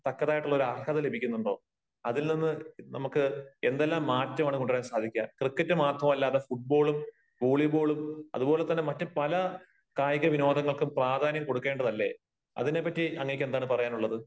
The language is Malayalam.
തക്കതായിട്ടുള്ള ഒരു അർഹത ലഭിക്കുന്നുണ്ടോ? അതിൽ നിന്ന് നമുക്ക് എന്തെല്ലാം മാറ്റമാണ് കൊണ്ടുവരാൻ സാധിക്കുക? ക്രിക്കറ്റ് മാത്രമല്ലാതെ ഫൂട്ബോളും വോളീബോളും അത്പോലെ തന്നെ മറ്റ് പല കായിക വിനോദങ്ങൾക്കും പ്രാധാന്യം കൊടുക്കേണ്ടതല്ലേ? അതിനെ പറ്റി അങ്ങേക്ക് എന്താണ് പറയാനുള്ളത്?